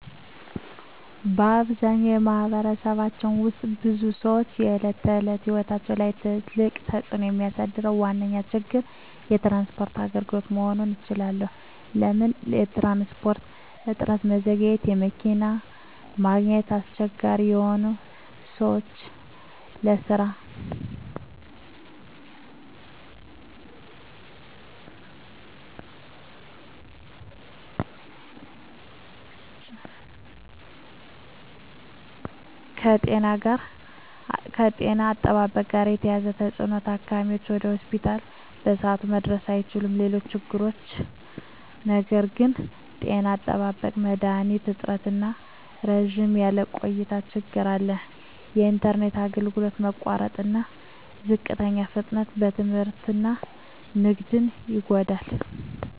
በአብዛኛው በማኅበረሰባችን ውስጥ የብዙ ሰዎች የዕለት ተዕለት ሕይወት ላይ በጣም ትልቅ ተፅዕኖ የሚያሳድረው ዋነኛ ችግር የትራንስፖርት አገልግሎት መሆኑን እባላለሁ። ለምን ትራንስፖርት? እጥረትና መዘግየት መኪና ማግኘት አስቸጋሪ ሆኖ ሰዎች ለስራ፣ ለትምህርት እና ለገበያ መድረስ ይዘገያሉ። ውድ ክፍያ የትራንስፖርት ዋጋ መጨመር የቤተሰብ ዕድል ገቢን ይጫን። ከጤና አጠባበቅ ጋር የተያያዘ ተፅዕኖ ታካሚዎች ወደ ሆስፒታል በሰዓቱ መድረስ አይችሉም። ሌሎች ችግሮች ነገር ግን… ጤና አጠባበቅ መድሀኒት እጥረትና ረዘም ያለ ቆይታ ችግር አለ። የኢንተርኔት አገልግሎት መቋረጥና ዝቅተኛ ፍጥነት ትምህርትና ንግድን ይጎዳል።